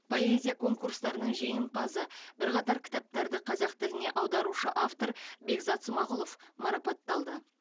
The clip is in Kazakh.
поэзия конкурстарының жеңімпазы бірқатар кітаптарды қазақ тіліне аударушы автор бекзат смағұлов марапатталды